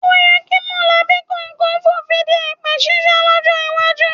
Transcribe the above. O yẹ kí mọ̀lẹ́bí kọ̀ọ̀kan fònfin de èpè ṣíṣe lọ́jọ́ iwájú